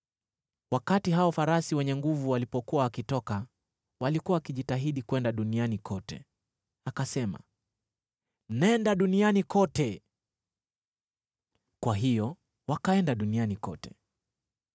Wakati hao farasi wenye nguvu walipokuwa wakitoka, walikuwa wakijitahidi kwenda duniani kote. Akasema, “Nenda duniani kote!” Kwa hiyo wakaenda duniani kote.